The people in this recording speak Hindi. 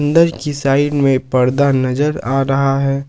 साइड में पर्दा नजर आ रहा है।